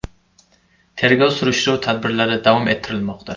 Tergov-surishtiruv tadbirlari davom ettirilmoqda.